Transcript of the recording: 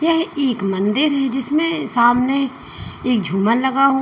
यह एक मंदिर है जिसमें सामने एक झूमर लगा हु--